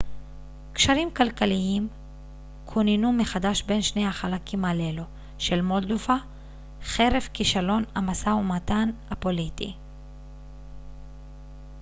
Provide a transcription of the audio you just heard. קשרים כלכליים כוננו מחדש בין שני החלקים הללו של מולדובה חרף כישלון המשא ומתן הפוליטי